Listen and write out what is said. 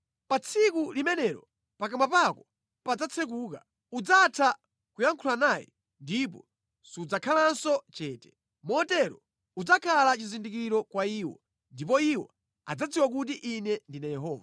Pa tsiku limenelo pakamwa pako padzatsekuka. Udzatha kuyankhula naye ndipo sudzakhalanso chete. Motero udzakhala chizindikiro kwa iwo, ndipo iwo adzadziwa kuti Ine ndine Yehova.”